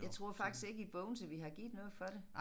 Jeg tror faktisk ikke i Bogense vi har givet noget for det